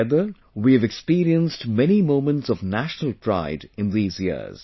Together, we have experienced many moments of national pride in these years